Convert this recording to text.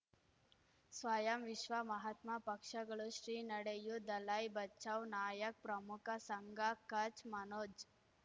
ಸ್ವಯಂ ವಿಶ್ವ ಮಹಾತ್ಮ ಪಕ್ಷಗಳು ಶ್ರೀ ನಡೆಯೂ ದಲೈ ಬಚೌ ನಾಯಕ್ ಪ್ರಮುಖ ಸಂಘ ಕಚ್ ಮನೋಜ್